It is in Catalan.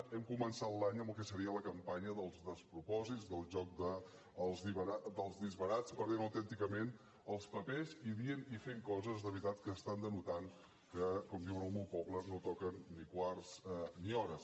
hem començat l’any amb el que seria la campanya dels despropòsits del joc dels disbarats perdent autènticament els papers i dient i fent coses de veritat que denoten que com diuen al meu poble no toquen ni quarts ni hores